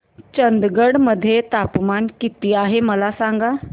चंदगड मध्ये तापमान किती आहे मला सांगा